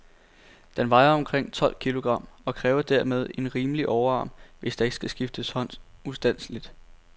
Den vejer omkring tolv kilogram, og kræver dermed en rimelig overarm, hvis der ikke skal skifte hånd ustandseligt.